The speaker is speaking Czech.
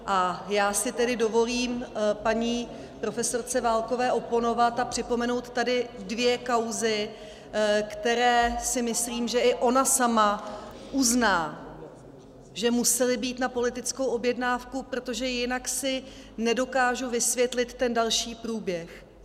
A já si tedy dovolím paní profesorce Válkové oponovat a připomenout tady dvě kauzy, které si myslím, že i ona sama uzná, že musely být na politickou objednávku, protože jinak si nedokážu vysvětlit ten další průběh.